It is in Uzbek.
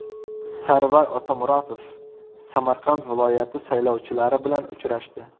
Sarvar Otamuratov Samarqand viloyati saylovchilari bilan uchrashdi.